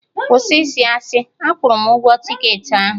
Kwụsị ịsị asị! Akwụrụ m ụgwọ tiketị ahụ